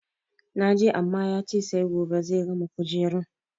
Na je amma ya ce sai gobe zai gama kujerun.